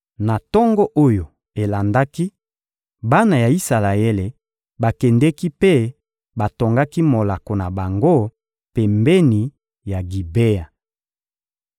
Na tongo oyo elandaki, bana ya Isalaele bakendeki mpe batongaki molako na bango pembeni ya Gibea.